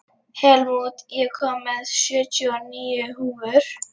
Helmút, ég kom með sjötíu og níu húfur!